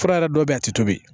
Fura yɛrɛ dɔ be yen a ti tobi